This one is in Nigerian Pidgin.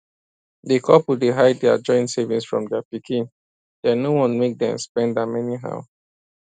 di couple dey hide dia joint savings from dia pikin dem no wan make dem spend am anyhow